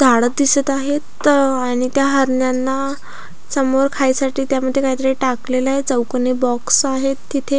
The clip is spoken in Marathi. झाड दिसत आहेत अ आणि त्या हरणांना समोर खायसाठी त्यामध्ये काहीतरी टाकलेलय चौकोनी बॉक्स आहेत तिथे.